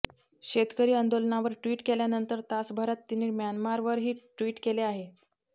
शेतकरी आंदोलनावर ट्वीट केल्यानंतर तासाभरात तिने म्यानमारवरही ट्वीट केलं आहे